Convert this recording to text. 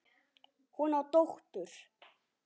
Hún á dóttur.